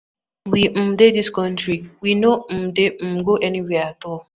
We um dey dis country, we no um dey um go anywhere at all.